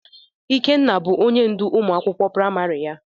Ikenna bụ ónyé ndụ ụmụ akwụkwọ praịmarị ya.